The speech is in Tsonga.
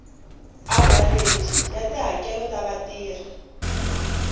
avhareji ya tihakelo ta vatirhi